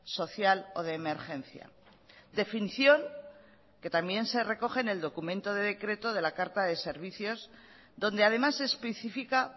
social o de emergencia definición que también se recoge en el documento de decreto de la carta de servicios donde además se especifica